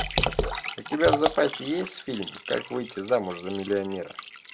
у тебя в запасе есть фильм как выйти замуж за миллионера